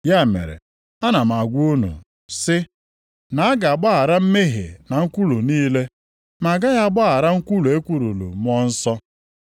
Ya mere, ana m agwa unu sị, na a ga-agbaghara mmehie na nkwulu niile. Ma agaghị agbaghara nkwulu ekwuluru Mmụọ Nsọ.